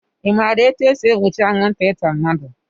I maara etu e si egbochi anwụnta ịta mmadụ?